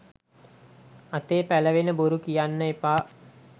අතේ පැලවෙන බොරු කියන්න එපා